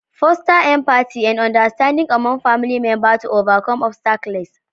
Foster empathy and understanding among family members to overcome obstacles.